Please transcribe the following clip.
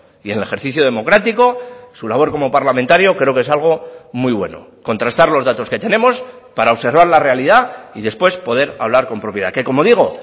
y en el ejercicio democrático su labor como parlamentario creo que es algo muy bueno contrastar los datos que tenemos para observar la realidad y después poder hablar con propiedad que como digo